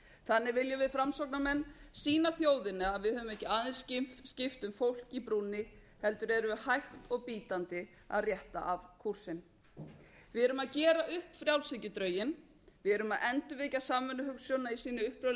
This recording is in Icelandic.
þannig viljum við framsóknarmenn sýna þjóðinni að við höfum ekki aðeins skipt um fólk í brúnni heldur erum við hægt og bítandi að rétta af kútinn við erum að gera upp frjálshyggjudrauginn við erum að endurvekja samvinnuhugsjónina í sinni upprunalegu